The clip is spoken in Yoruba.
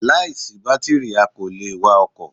Láìsí bátìrì a kò le è wa ọkò